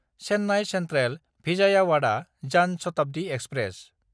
चेन्नाय सेन्ट्रेल–भिजायावादा जान शताब्दि एक्सप्रेस